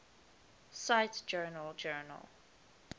cite journal journal